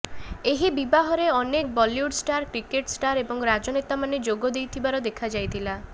ଏହି ବିବାହରେ ଅନେକ ବଲିଉଡ୍ ଷ୍ଟାର କ୍ରିକେଟ ଷ୍ଟାର ଏବଂ ରାଜନେତାମାନେ ଯୋଗ ଦେଇଥିବାର ଦେଖା ଯାଇଥିଲା